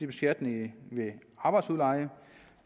beskatning ved arbejdsudleje